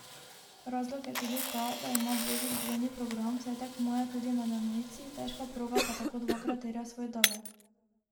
Razlog je tudi ta, da ima Božič dvojni program, saj tekmuje tudi med enojci, težka proga pa tako dvakrat terja svoj davek.